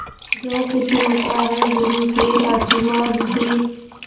जो कुछ होता है गुरु के आशीर्वाद से